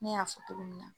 Ne y'a fɔ cogo min na